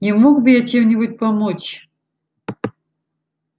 не мог бы я чем-нибудь помочь